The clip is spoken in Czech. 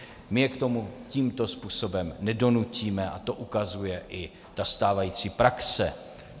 My je k tomu tímto způsobem nedonutíme a to ukazuje i ta stávající praxe.